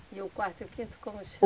– E o quarto e o quinto, como